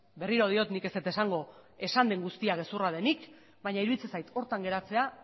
berriro diot nik ez dut esango esan den guztia gezurra denik baina iruditzen zait horretan geratzea